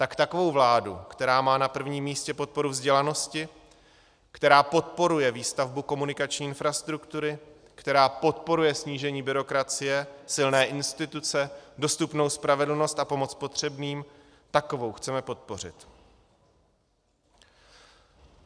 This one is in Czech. Tak takovou vládu, která má na prvním místě podporu vzdělanosti, která podporuje výstavbu komunikační infrastruktury, která podporuje snížení byrokracie, silné instituce, dostupnou spravedlnost a pomoc potřebným, takovou chceme podpořit.